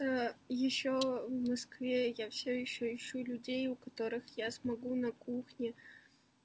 а ещё в москве я всё ещё ищу людей у которых я смогу на кухне